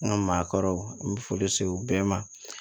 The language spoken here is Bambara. An ka maakɔrɔw n bɛ foli se u bɛɛ ma